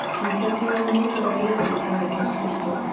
En hvernig var að mótivera liðið í dag í þessari stöðu?